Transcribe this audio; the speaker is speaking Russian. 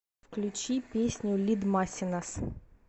включи песню лидмасинас